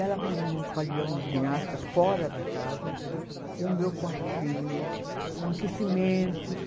Ela arrumou no pavilhão de ginástica, fora da casa, o meu quartinho com aquecimentos.